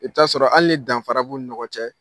I bɛ taa sɔrɔ hali ni danfara b'u ni ɲɔgɔn cɛ